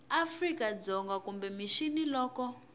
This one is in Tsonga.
afrika dzonga kumbe mixini loko